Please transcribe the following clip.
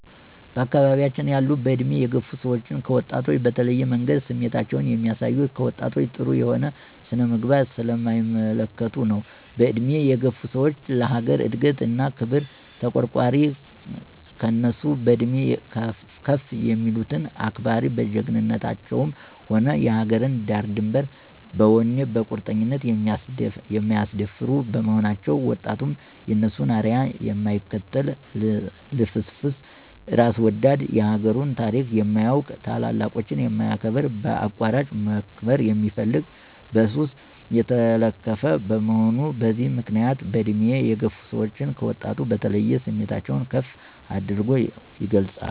በአካባቢያችን ያሉ በእድሜ የገፋ ሰዎች ከወጣቶች በተለየ መንገድ ስሜታቸውን የሚያሳዩት፣ ከወጣቶች ጥሩ የሆነ ስነ-ምግባር ስለማይመለከቱ ነው። በእድሜ የገፋ ሰዎች ለአገር እድገት እና ክብር ተቋርቋሪ፣ ከእነሱ በእድሜ ከፍ የሚሉትን አክባሪ፣ በጀግንነታቸ ውም የአገርን ዳርድንበር በወኔ በቁርጠኝነት የማያስደፍሩ በመሆናቸው፤ ወጣቱም የእነሱን አርያ የማይከተል ልፍስፍስ፣ እራስ ወዳድ፣ የአገሩን ታሪክ የማያውቅ፣ ታላላቆችን የማያከብር፣ በአቋራጭ መክበር የሚፈልግ፣ በሱስ የተለከፈ፣ በመሆኑ በዚህ ምክንያት በእድሜ የገፋ ሰወች ከወጣቱ በተለየ ስሜታቸውን ከፍ አድርገው ይገልፃሉ።